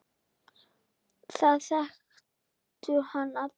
Það þekktu hann allir.